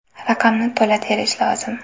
Raqamni to‘la terish lozim.